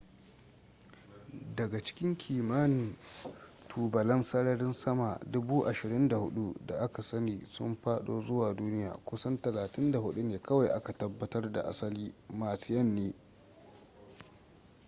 daga cikin kimanin tubalan sararin sama 24,000 da aka sani sun fado zuwa duniya kusan 34 ne kawai aka tabbatar da asali martian ne